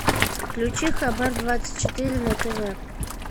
включи хабар двадцать четыре на тв